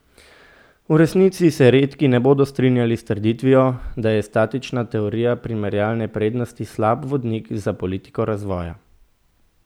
V resnici se redki ne bodo strinjali s trditvijo, da je statična teorija primerjalne prednosti slab vodnik za politiko razvoja.